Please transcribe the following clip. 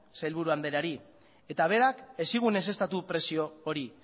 sailburu andreari eta berak ez zigun ezeztatu prezio hori